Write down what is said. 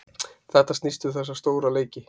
Þetta snýst um þessa stóra leiki.